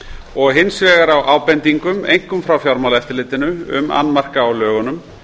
og hins vegar á ábendingum einkum frá fjármálaeftirlitinu um annmarka á lögunum